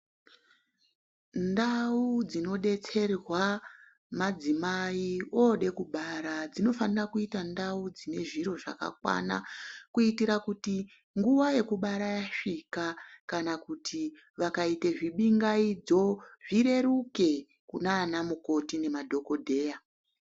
Ndau dzinodetserwa madzimai oda kubara dzinofanira kuita ndau dzine zviro zvakakwana kuitira kuti nguwa yekubara yasvika kana kuti vakaita zibingaidzo zvireruke kunana mukoti nemadhokodheya.